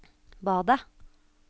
badet